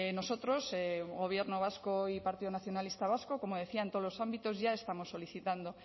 nosotros gobierno vasco y partido nacionalista vasco como decía en todos los ámbitos ya estamos solicitando